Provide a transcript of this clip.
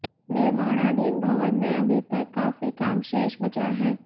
निर्माणाधीन भवन में अभी तक काफी काम शेष बचा है